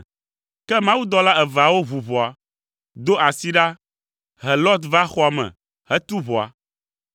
Ke mawudɔla eveawo ʋu ʋɔa, do asi ɖa, he Lot va xɔa me, tu ʋɔa,